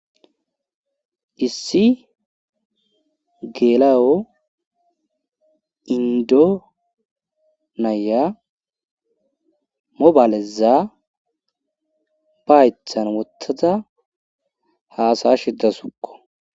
issi geelayo indo naya mobaaleza ba haythan wotaza haasaya shiddasukko